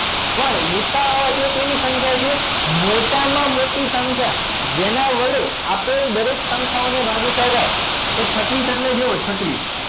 પણ ભૂસા કેવી સંખ્યા છે મોટામાં મોટી સંખ્યા જેના વડે આપેલ દરેક સંખ્યાઓને ભાગી શકાય તો છત્રીસ એટલે જુઓ છત્રીસ